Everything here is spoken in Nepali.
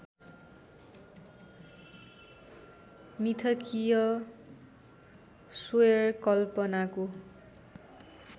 मिथकीय स्वैरकल्पनाको